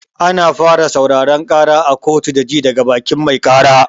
Ana fara sauraron ƙara a kotu da ji daga bakin mai ƙara.